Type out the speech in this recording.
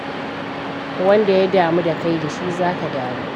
Wanda ya damu da kai da shi za ka damu.